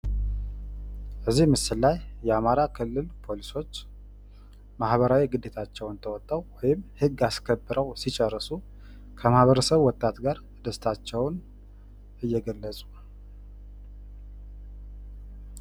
በዚህ ምስል ላይ የአማራ ክልል ፖሊሶች ማህራዊ ግዴታቸውን ተወጠው ህግ አስከብረው ሲጨርሱ ከማህበረሰቡ ወጣት ጋር ደስታቸውን እየገለፁ ነው።